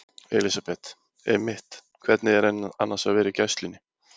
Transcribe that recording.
Elísabet: Einmitt, hvernig er annars að vera í gæslunni?